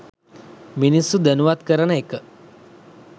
මිනිස්සු දැනුවත් කරන එක